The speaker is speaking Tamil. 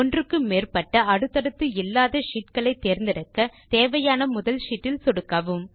ஒன்றுக்கு மேற்பட்ட அடுத்தடுத்து இல்லாத ஷீட் களை தேர்ந்தெடுக்க தேவையான முதல் ஷீட் இல் சொடுக்கவும்